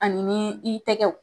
Ani nii i tɛgɛw